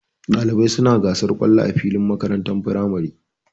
Ɗalibai suna gasar kallo a filin makarantar firamare.